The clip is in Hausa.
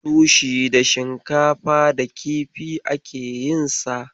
Sushi da shinkafa da kifi ake yinsa.